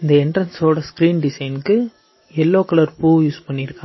இந்த என்ட்ரன்ஸோட ஸ்கிரீன் டிசைன்க்கு எல்லோ கலர் பூ யூஸ் பண்ணிருக்கா.